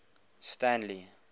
stanley